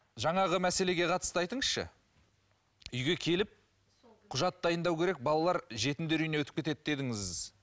жаңағы мәселеге қатысты айтыңызшы үйге келіп құжат дайындау керек балалар жетімдер үйіне өтіп кетеді дедіңіз